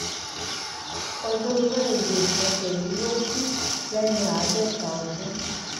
ọjọrùú wíṣídẹẹ ọsẹ yìí ló kù lẹni àádọta ọdún